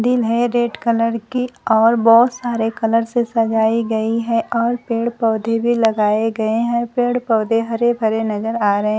दिल है। Red colour की और बहोत सारे कलर से सजाई गई है और पेड़ पौधे भी लगाए गए है। पेड़ पौधे हरे भरे नजर आ रहे--